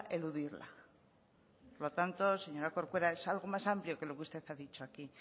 eludirla por lo tanto señora corcuera es algo más amplio que lo que usted ha dicho aquí